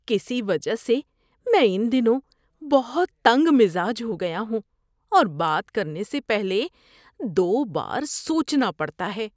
کسی وجہ سے میں ان دنوں بہت تنگ مزاج ہو گیا ہوں اور بات کرنے سے پہلے دو بار سوچنا پڑتا ہے۔